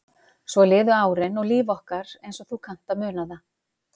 Svo liðu árin og líf okkar eins og þú kannt að muna það.